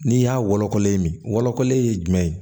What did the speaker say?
N'i y'a wolokolen min wolokɔlen ye jumɛn ye